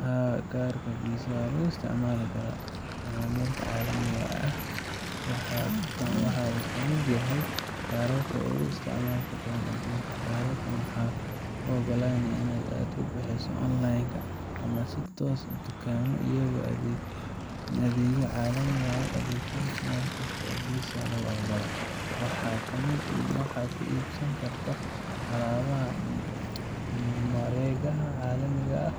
Haa, kaarka Visa waa lagu isticmaali karaa macaamilka caalamiga ah, waxaana uu ka mid yahay kaararka ugu isticmaalka badan aduunka. Kaarkaan wuxuu kuu ogolaanayaa in aad lacag ku bixiso online ama si toos ah dukaamo iyo adeegyo caalami ah uga adeegsato meel kasta oo Visa lagu aqbalo. Waxaad ku iibsan kartaa alaabaha mareegaha caalamiga ah